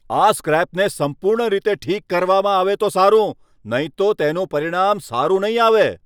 આ સ્ક્રેપને સંપૂર્ણ રીતે ઠીક કરવામાં આવે તો સારું, નહીં તો તેનું પરિણામ સારું નહીં આવે!